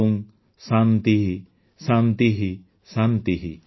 ଓଁ ଶାନ୍ତିଃ ଶାନ୍ତିଃ ଶାନ୍ତିଃ